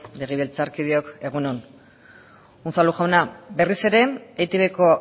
legebiltzarkideok egun on unzalu jauna berriz ere etbko